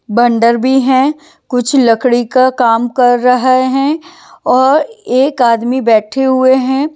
बंदर भी हैं कुछ लकड़ी का काम कर रहे हैं और एक आदमी बैठे हुए हैं।